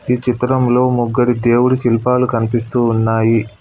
ఈ చిత్రంలో ముగ్గురి దేవుడి శిల్పాలు కనిపిస్తూ ఉన్నాయి.